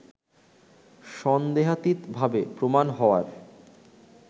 সন্দেহাতীতভাবে প্রমাণ হওয়ার